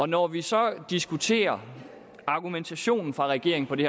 når vi så diskuterer argumentationen fra regeringen for det